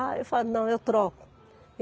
Aí eu falava, não, eu troco.